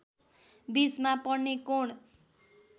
बीचमा पर्ने कोण।